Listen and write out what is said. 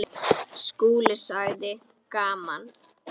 SKÚLI: Gaman!